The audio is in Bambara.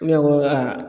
Ne ko aa